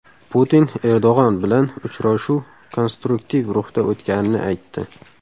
Putin Erdo‘g‘on bilan uchrashuv konstruktiv ruhda o‘tganini aytdi.